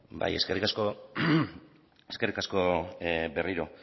bai eskerrik asko eskerrik asko berriro